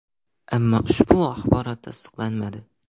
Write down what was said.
Ammo ushbu axborot tasdiqlanmadi.